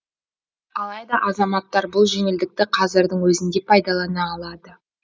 алайда азаматтар бұл жеңілдікті қазірдің өзінде пайдалана алады